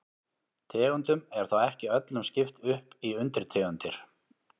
Tegundum er þó ekki öllum skipt upp í undirtegundir.